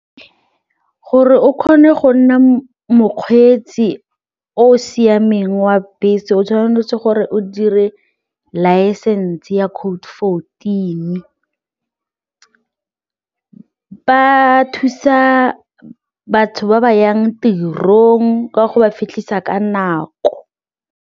Gore o kgone go nna mokgweetsi o o siameng wa bese o tshwanetse gore o dire laesense ya code fourteen, ba thusa batho ba ba yang tirong ka go ba fitlhisa ka nako.